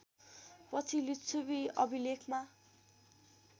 पनि लिच्छवी अभिलेखमा